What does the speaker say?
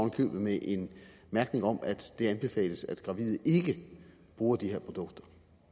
i købet med en mærkning om at det anbefales at gravide ikke bruger de her produkter